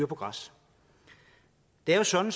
på græs det er jo sådan